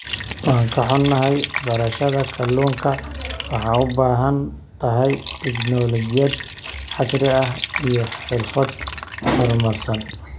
Waan ka xunnahay, beerashada kalluunka waxay u baahan tahay tignoolajiyad casri ah iyo xirfado horumarsan.